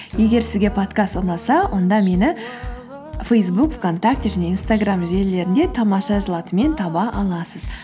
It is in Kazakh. егер сізге подкаст ұнаса онда мені фейсбук вконтакте және инстаграм желілерінде тамаша жыл атымен таба аласыз